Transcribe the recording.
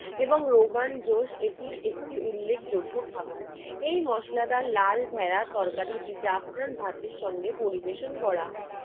এবং রোগান জোস এটি একটি উল্লেখযোগ্য খাবার। এই মশলাদার লাল ভেড়ার তরকারিটি জাফরান ভাতের সঙ্গে পরিবেশন করা হয়।